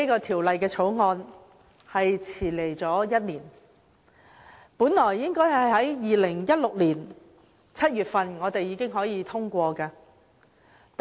《條例草案》來遲了1年，本應早在2016年7月份已獲通過。